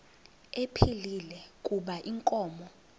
ephilile kuba inkomo